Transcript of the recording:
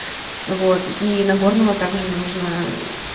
вот и нагорного также нужно